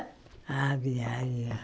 Ah viaja.